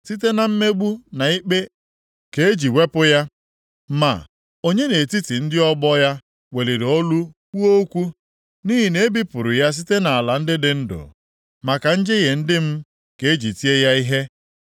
Site na mmegbu na ikpe ka e ji wepụ ya. Ma, onye nʼetiti ndị ọgbọ + 53:8 Ya bụ, kwụpụtara ya weliri olu kwuo okwu? Nʼihi na e bipụrụ ya site nʼala ndị dị ndụ; maka njehie ndị m ka e ji tie ya ihe. + 53:8 Ya bụ, taa ya ahụhụ